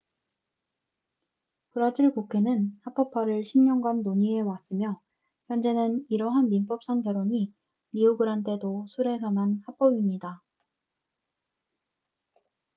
브라질 국회는 합법화를 10년간 논의해왔으며 현재는 이러한 민법상 결혼이 리오그란데 도 술에서만 합법입니다